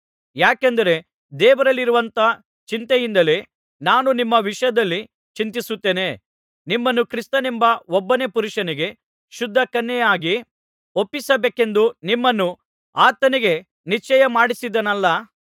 ಯಾಕೆಂದರೆ ದೇವರಲ್ಲಿರುವಂಥ ಚಿಂತೆಯಿಂದಲೇ ನಾನು ನಿಮ್ಮ ವಿಷಯದಲ್ಲಿ ಚಿಂತಿಸುತ್ತೇನೆ ನಿಮ್ಮನ್ನು ಕ್ರಿಸ್ತನೆಂಬ ಒಬ್ಬನೇ ಪುರುಷನಿಗೆ ಶುದ್ಧ ಕನ್ಯೆಯಾಗಿ ಒಪ್ಪಿಸಬೇಕೆಂದು ನಿಮ್ಮನ್ನು ಆತನಿಗೆ ನಿಶ್ಚಯಮಾಡಿಸಿದ್ದೇನಲ್ಲ